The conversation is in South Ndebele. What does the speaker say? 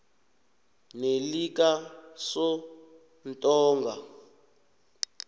nelikasontonga